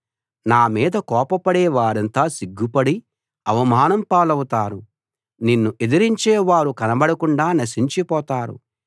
నీ మీద కోపపడే వారంతా సిగ్గుపడి అవమానం పాలవుతారు నిన్ను ఎదిరించే వారు కనబడకుండా నశించిపోతారు